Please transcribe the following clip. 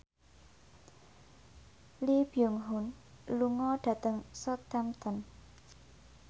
Lee Byung Hun lunga dhateng Southampton